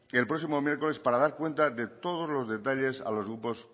del próximo miércoles para dar cuenta de todos los detalles a los grupos